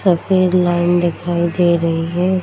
सफ़ेद लाइन दिखाई दे रही है।